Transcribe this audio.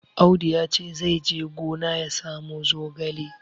Audu ya ce zai je gina ya samo zogale.